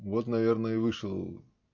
вот наверное и вышел